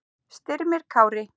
Styrmir Kári.